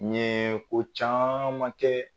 Ɲee ko caaman kɛ.